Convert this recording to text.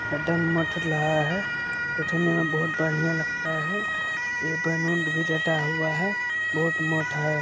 यह मठ रहा है देखे में बहुत बड़िया लगता है यह बलून भी लगा हुआ है बहुत मोटा है।